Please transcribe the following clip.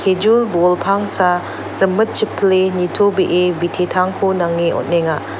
ejul bol pangsa rimitchippile nitobee bitetangko nange on·enga.